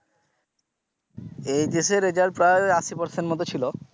এর result প্রায় আশি percent এর মত ছিলো।